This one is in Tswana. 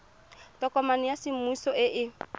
tokomane ya semmuso e e